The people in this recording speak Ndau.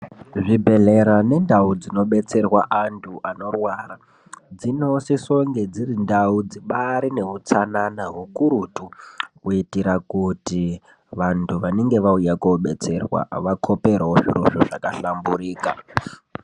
Muzvibhedhlera mundau dzinodetserwa antu anorwara. Dzinosisonge dzirindau dzibaari neutsanana ukurutu, kuitira kuti vantu vanenge vauya kodetserwa vakhoperewo zvirozvo zvakahlamburika.